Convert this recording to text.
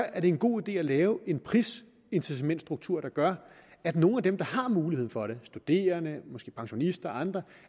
er det en god idé at lave en prisincitamentsstruktur der gør at nogle af dem der har muligheden for det studerende måske pensionister og andre